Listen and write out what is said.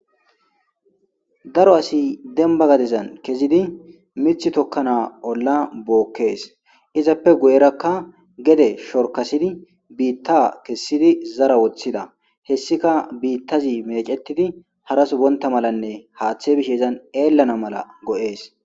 daro asi demba gadizan kezidi mith tokkana olla bookkees izappe goyerakka gede shorkasidi biitta kessidi zara woththida hessika biittazi meecetidi harasubonta malanne haaththe bish ezan eellana mala go7ees